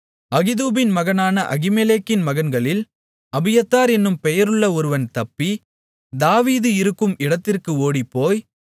அகிதூபின் மகனான அகிமெலேக்கின் மகன்களில் அபியத்தார் என்னும் பெயருள்ள ஒருவன் தப்பி தாவீது இருக்கும் இடத்திற்கு ஓடிப்போய்